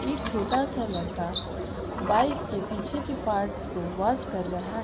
एक छोटा सा लड़का बाइक के पीछे के पार्ट्स को वाश कर रहा है।